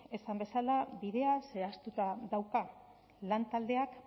esan bezala bidea zehaztuta dauka lantaldeak